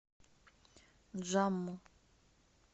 джамму